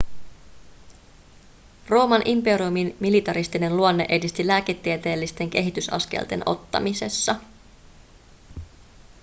rooman imperiumin militaristinen luonne edisti lääketieteellisten kehitysaskelten ottamisessa